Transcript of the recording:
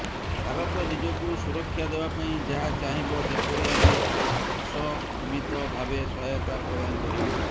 ଭାରତ ନିଜକୁ ସୁରକ୍ଷା ଦେବା ପାଇଁ ଯାହା ଚାହିଁବ ସେପରି ଆମେ ଅସମୀତଭାବେ ସହାୟତା ପ୍ରଦାନ କରିବୁ